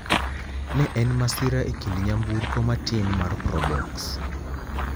Ne en masira e kind nyamburko matin mar probox.